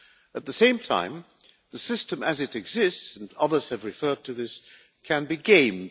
At the same time, the system as it exists and others have referred to this can be gamed.